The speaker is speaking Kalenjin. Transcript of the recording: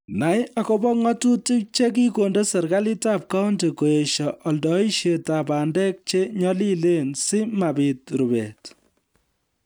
Nai akobo ng'atutik che kikonde serikalitab County koesho oldoishetab bandek che nyolilen si mabiit rubet